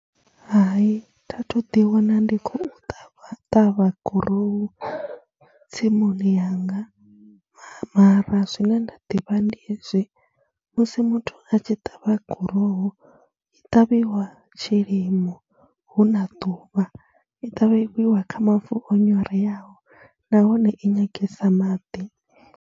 Hai, tha thu ḓiwana ndi khou ṱavha gurowu tsimuni yanga mara zwine nda ḓivha ndi hezwi, musi muthu a tshi ṱavha gurowu, i ṱavhiwa tshilimo hu na ḓuvha, i ṱavhiwa kha mavu o nyoreaho nahone i nyangesa maḓi.